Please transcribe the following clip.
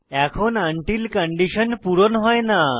এখন until condition পূর্ণ হয় না